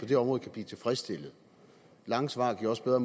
det område kan blive tilfredsstillet lange svar giver også bedre